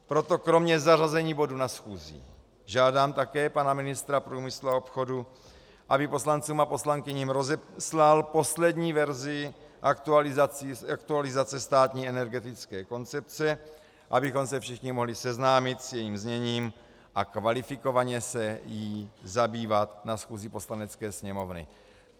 Proto kromě zařazení bodu na schůzi žádám také pana ministra průmyslu a obchodu, aby poslancům a poslankyním rozeslal poslední verzi aktualizace státní energetické koncepce, abychom se všichni mohli seznámit s jejím zněním a kvalifikovaně se jí zabývat na schůzi Poslanecké sněmovny.